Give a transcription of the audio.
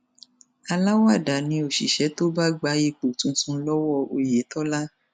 aláwàdà ni òṣìṣẹ tó bá gba ipò tuntun lọwọ oyetola